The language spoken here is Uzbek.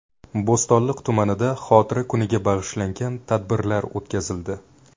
Bo‘stonliq tumanida xotira kuniga bag‘ishlangan tadbirlar o‘tkazildi .